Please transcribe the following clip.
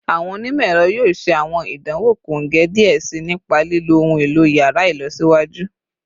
Awọn onimọ-ẹrọ yoo ṣe awọn idanwo kongẹ diẹ sii nipa lilo ohun elo yàrá ilọsiwaju